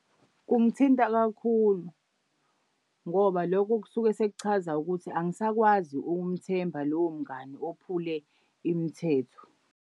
Kungithinta kakhulu ngoba lokho kusuke sekuchaza ukuthi angisakwazi ukumthemba lowo mngani ophule imithetho.